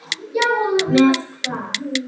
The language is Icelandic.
Með hvað?